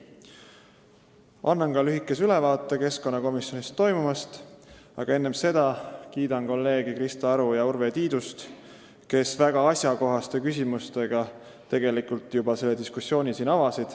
Annan lühikese ülevaate keskkonnakomisjonis toimunust, aga enne seda kiidan kolleege Krista Aru ja Urve Tiidust, kes oma väga asjakohaste küsimustega juba avasid siin diskussiooni.